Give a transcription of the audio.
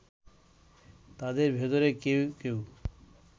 তাদের ভেতরে কেউ কেউ